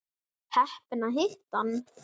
Var heppin að hitta hann.